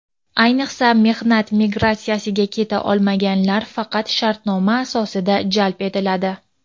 ayniqsa mehnat migratsiyasiga keta olmaganlar faqat shartnoma asosida jalb etiladi.